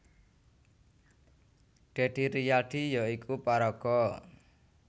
Deddy Rizaldi ya iku paraga